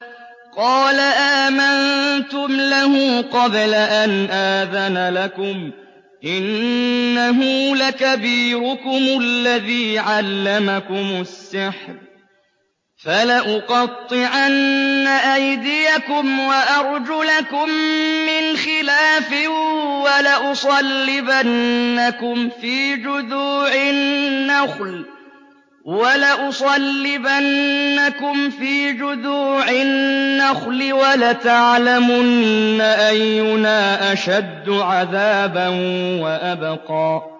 قَالَ آمَنتُمْ لَهُ قَبْلَ أَنْ آذَنَ لَكُمْ ۖ إِنَّهُ لَكَبِيرُكُمُ الَّذِي عَلَّمَكُمُ السِّحْرَ ۖ فَلَأُقَطِّعَنَّ أَيْدِيَكُمْ وَأَرْجُلَكُم مِّنْ خِلَافٍ وَلَأُصَلِّبَنَّكُمْ فِي جُذُوعِ النَّخْلِ وَلَتَعْلَمُنَّ أَيُّنَا أَشَدُّ عَذَابًا وَأَبْقَىٰ